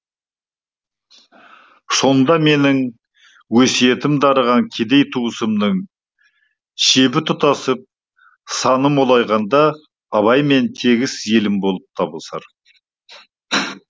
сонда менің өсиетім дарыған кедей туысымның шебі тұтасып саны молайғанда абаймен тегіс елім болып табысар